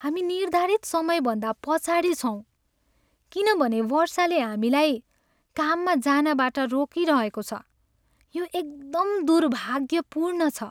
हामी निर्धारित समय भन्दा पछाडि छौँ किनभने वर्षाले हामीलाई काममा जानबाट रोकिरहेको छ, यो एकदम दुर्भाग्यपूर्ण छ।